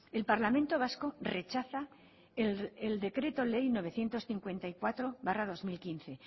el parlamento vasco rechaza el decreto ley novecientos cincuenta y cuatro barra dos mil quince